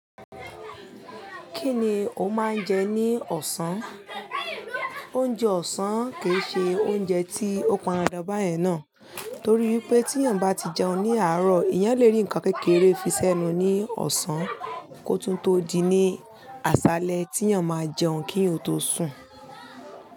Kí ni o máa ń jẹ ní ọ̀sán? Oúnjẹ ọ̀sán kì í ṣe oúnjẹ tí ó pan dandan báyẹn náà torí pé tí èèyàn bá ti jẹun ní àárọ̀, èèyàn le rí nǹkan kékeré fi sẹ́nu ní ọ̀sán kó tún tó di ní àṣálẹ́ tí èèyàn máa jẹun kí èèyàn tó sùn.